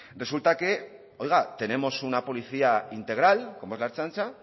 resulta que oiga tenemos una policía integral como es la ertzaintza